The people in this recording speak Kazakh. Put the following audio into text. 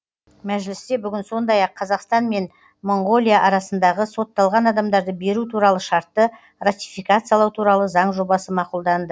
мәжілісте бүгін сондай ақ қазақстан мен моңғолия арасындағы сотталған адамдарды беру туралы шартты ратификациялау туралы заң жобасы мақұлданды